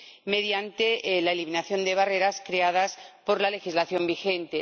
mediante la eliminación de barreras creadas por la legislación vigente.